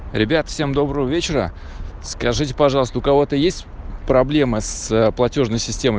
ребят всем доброго вечера скажите пожалуйста у кого-то есть проблемы с платёжной системой